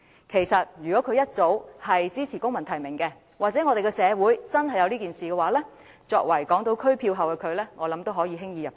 其實，如果她當初支持公民提名，或社會上真的有公民提名，相信作為港島區票后的她也能輕易"入閘"。